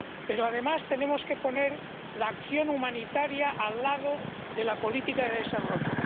Pero, además, tenemos que poner la acción humanitaria al lado de la política de desarrollo.